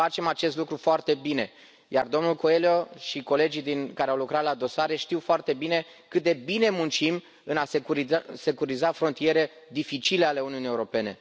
Și facem acest lucru foarte bine, iar domnul Coelho și colegii care au lucrat la dosare știu foarte bine cât de bine muncim în a securiza frontiere dificile ale Uniunii Europene.